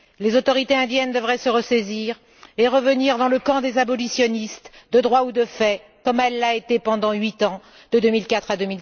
Les autorités indiennes devraient se ressaisir et revenir dans le camp des abolitionnistes, de droit ou de fait, comme elle l'a été pendant huit ans, de 2004 à